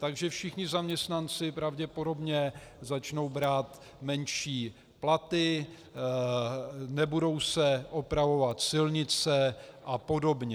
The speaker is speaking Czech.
Takže všichni zaměstnanci pravděpodobně začnou brát menší platy, nebudou se opravovat silnice a podobně.